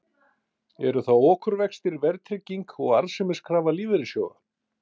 Eru það okurvextir, verðtrygging og arðsemiskrafa lífeyrissjóða?